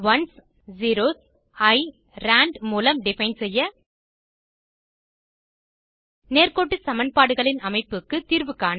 ones zeros eye rand மூலம் define செய்ய நேர்க்கோட்டு சமன்பாடுகளின் அமைப்புக்கு தீர்வு காண